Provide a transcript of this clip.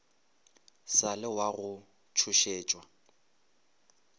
sa le wa go tšhošetšwa